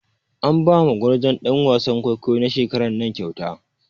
An ba ma gwarzon ɗan wasan kwaikwayo na shekaran nan kyauta.